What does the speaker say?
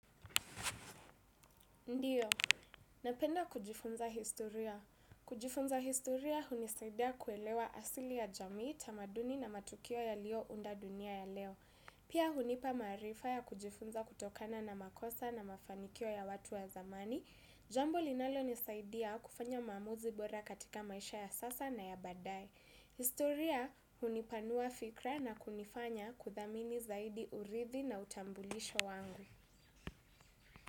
Ndiyo, napenda kujifunza historia. Kujifunza historia hunisaidia kuelewa asili ya jamii tamaduni na matukio yalio unda dunia ya leo. Pia hunipa marifa ya kujifunza kutokana na makosa na mafanikio ya watu ya zamani. Jambo linalonisaidia kufanya mamuzi bora katika maisha ya sasa na ya badae. Historia hunipanua fikra na kunifanya kuthamini zaidi urithi na utambulisho wangu.